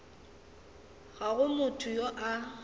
ga go motho yo a